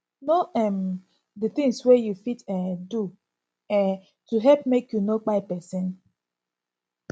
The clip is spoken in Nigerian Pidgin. know um di things wey you fit um do um to help make you no kpai person